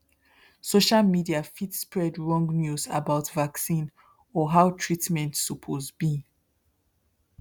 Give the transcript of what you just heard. social media fit spread wrong news about vaccine or how treatment suppose be